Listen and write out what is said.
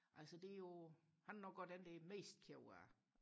altså det er jo han er nok også den der er mest ked af